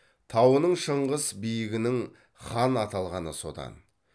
тауының шыңғыс биігінің хан аталғаны содан